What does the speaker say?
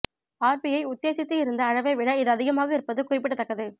RBI உத்தேசித்து இருந்த அளவை விட இது அதிகமாக இருப்பது குறிப்பிடத்தக்கது